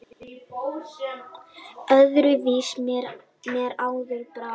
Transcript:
Öðru vísi mér áður brá!